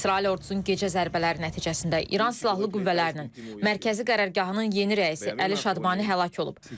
İsrail ordusunun gecə zərbələri nəticəsində İran Silahlı Qüvvələrinin Mərkəzi Qərargahının yeni rəisi Əli Şadmani həlak olub.